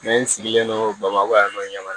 n sigilen do bamakɔ yan nɔ ɲamana